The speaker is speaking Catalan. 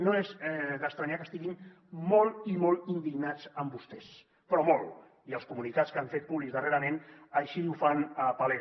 no és d’estranyar que estiguin molt i molt indignats amb vostès però molt i els comunicats que han fet públics darrerament així ho fan palès